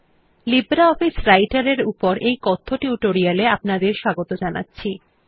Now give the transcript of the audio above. LibreOffice রাইটের এর উপর কথ্য টিউটোরিয়াল এ আপনাদের স্বাগত জানাচ্ছি